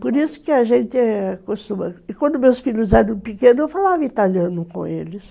Por isso que a gente acostuma... E quando meus filhos eram pequenos, eu falava italiano com eles.